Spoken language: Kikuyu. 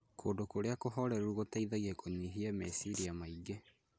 Kũndũ kũrĩa kũhoreru, gũteithagia kũnyihia meciria maingĩ.